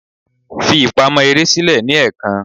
Fi ibi ipamọ ere silẹ ni ẹẹkan!